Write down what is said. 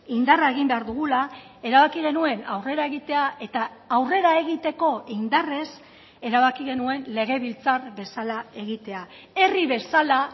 indarra egin behar dugula erabaki genuen aurrera egitea eta aurrera egiteko indarrez erabaki genuen legebiltzar bezala egitea herri bezala